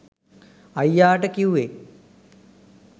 අයියාට කිව්වේ